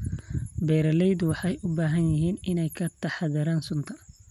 Beeraleydu waxay u baahan yihiin inay ka taxaddaraan sunta.